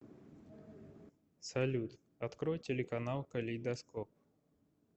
салют открой телеканал калейдоскоп